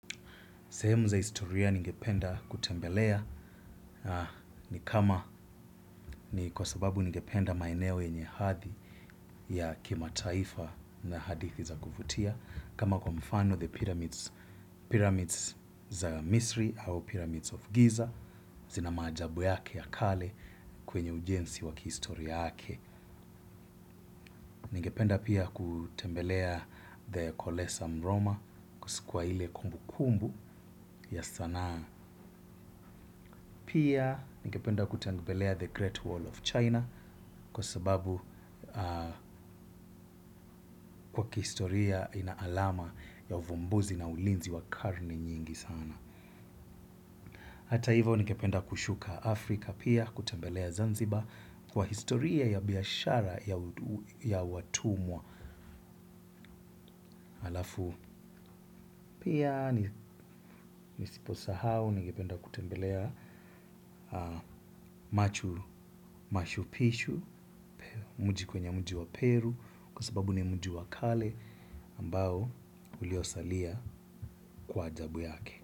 Sehemu za historia ningependa kutembelea ni kwa sababu ningependa maeneo yenye hadhi ya kima taifa na hadithi za kuvutia. Kama kwa mfano the pyramids za Misri au pyramids of Giza, zina maajabu yake ya kale kwenye ujenzi wakihistoria yake. Ningependa pia kutembelea the Kolesa mroma kusi kwa ile kumbu kumbu ya sanaa pia. Ningependa kutembelea the Great Wall of China kwa sababu kwa kihistoria ina alama ya uvumbuzi na ulinzi wa karne nyingi sana. Hata hivyo ningependa kushuka Afrika pia kutembelea Zanzibar kwa historia ya biashara ya watumwa alafu. Pia nisiposahau ningependa kutembelea machuru mashupishu, mji kwenye mji wa Peru, kwa sababu ni mji wa kale ambao uliosalia kwa ajabu yake.